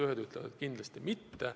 Ühed ütlevad, et kindlasti mitte.